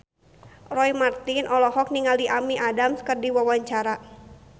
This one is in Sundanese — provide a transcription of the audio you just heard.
Roy Marten olohok ningali Amy Adams keur diwawancara